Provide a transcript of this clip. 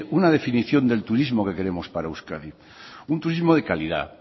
una definición del turismo que queremos para euskadi un turismo de calidad